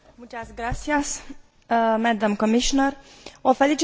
O felicit pe doamna Merkies pentru raportul extrem de elaborat.